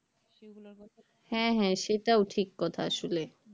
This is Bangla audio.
হ্যাঁ হ্যাঁ সেটাও ঠিক কথা আসলে